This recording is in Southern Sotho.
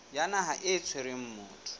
ya naha e tshwereng motho